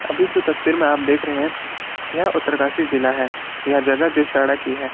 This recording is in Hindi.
भी जो तस्वीर मे आप देख रहे हैं यह उत्तरकाशी जिला है यह जगह जोशियाड़ा की है।